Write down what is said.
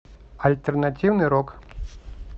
альтернативный рок